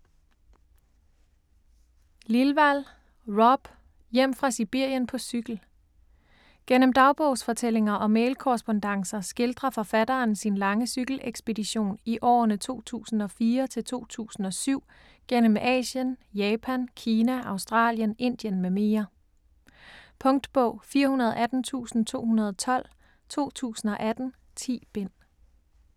Lilwall, Rob: Hjem fra Sibirien på cykel Gennem dagbogsfortællinger og mailkorrespondancer skildrer forfatteren sin lange cykelekspedition i årene 2004-2007 gennem Asien, Japan, Kina, Australien, Indien m.m. Punktbog 418212 2018. 10 bind.